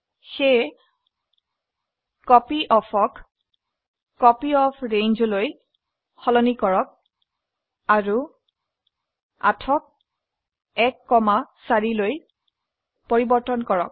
সেয়ে কপিঅফ ক কপিঅফ্ৰেঞ্জ লৈ সলনি কৰক আৰু 8 ক 1 4 লৈ পৰিবৰ্তন কৰক